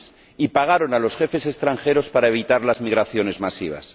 y pagaron a los jefes extranjeros para evitar las migraciones masivas.